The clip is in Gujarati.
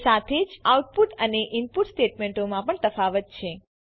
એ સાથે જ આઉટપુટ અને ઈનપુટ સ્ટેટમેંટોમાં પણ તફાવત છે